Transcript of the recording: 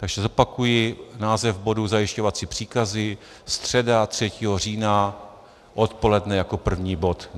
Takže zopakuji název bodu: zajišťovací příkazy, středa 3. října odpoledne jako první bod.